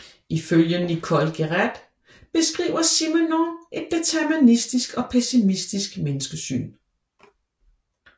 Ifølge Nicole Geeraert beskriver Simenon et deterministisk og pessimistisk menneskesyn